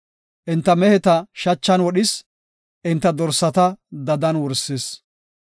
Enta meheta shachan wodhis; enta dorsata dadan wursis.